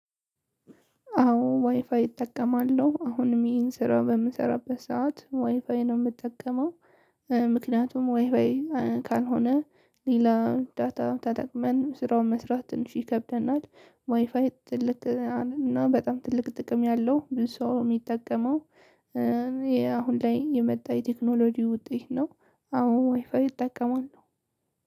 አዎ ዋይፋይ እጠቀማለሁ አሁንም ይሄን ስራ በምሰራበት ሰዓት ዋይፋይ ነው የምጠቀመው። ምክንያቱም ዋይፉይ ካልሆነ ሌላ ዳታ ተጠቅመን ስራውን መስራት ትንሽ ይከብደናል። ዋይፋይ ትልቅ እና በጣም ትልቅ ጥቅም ያለው ብዙ ሰው የሚጠቀመው። ይሄ አሁን ላይ የመጣ የቴክኖሎጂ ውጤት ነው። አዎ ዋይፋይ እጠቀማለሁ።